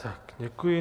Tak děkuji.